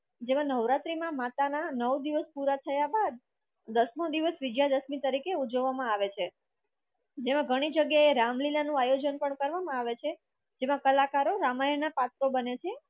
જેમાં નવરાત્રીના માતાના નવ દિવસ પુરા થયા બાદ દસમો દિવસ વિજયાદશમી તરીકે ઉજવવામાં આવે છે જેમાં ઘણી જગ્યાએ રામલીલા નું આયોજન કરવામાં આવે છે જેમાં કલાકારો રામાયણના પાત્ર બને છે